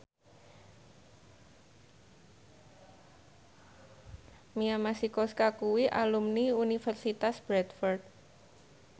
Mia Masikowska kuwi alumni Universitas Bradford